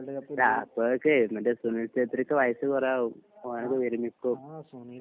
ആഹ്അപ്പോഴേക്ക് മറ്റേ സുനിൽ ശത്രിക്ക് വയസ്സ് കൊറേ ആവും. ഓൻ അങ്ങട്ട് വിരമിക്കും.